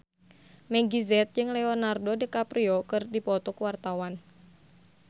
Meggie Z jeung Leonardo DiCaprio keur dipoto ku wartawan